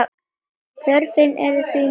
Þörfin er því mikil.